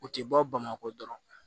U tɛ bɔ bamakɔ dɔrɔn